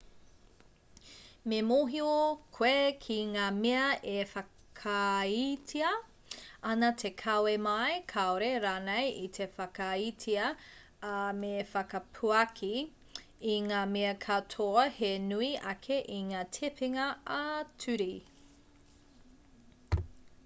me mōhio koe ki ngā mea e whakaaetia ana te kawe mai kāore rānei i te whakaaetia ā me whakapuaki i ngā mea katoa he nui ake i ngā tepenga ā-ture